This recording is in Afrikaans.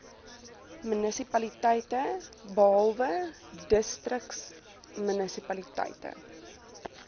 munisipaliteite behalwe distriksmunisipaliteite